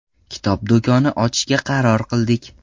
Kitob do‘koni ochishga qaror qildik.